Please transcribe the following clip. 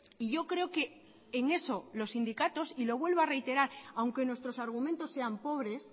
y yo creo que en eso los sindicatos y lo vuelvo a reiterar aunque nuestros argumentos sean pobres